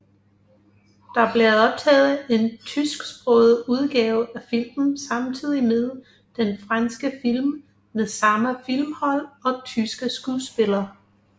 Der blev optaget en tysksproget udgave af filmen samtidig med den franske film med samme filmhold og tyske skuespillere